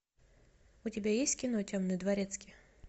у тебя есть кино темный дворецкий